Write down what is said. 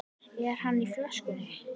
Er andi í flöskunni?